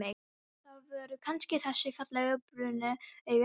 Það voru kannski þessi fallegu, brúnu augu hennar.